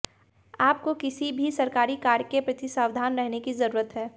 आपको किसी भी सरकारी कार्य के प्रति सावधान रहने की जरूरत है